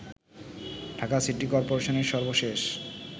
Dhaka city করপোরেশনের সর্বশেষ